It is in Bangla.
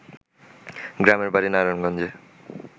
গ্রামের বাড়ি নারায়ণগঞ্জে